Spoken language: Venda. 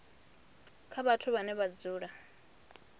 kha vhathu vhane vha dzula